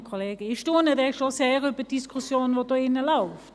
Ich staune schon sehr über die Diskussion, die hier läuft.